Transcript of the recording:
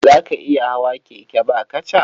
Za ka iya hawa keke ba kaca?